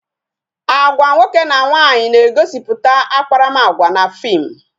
Agwa nwoke na nwaanyị na-egosiputa akparamagwa na fim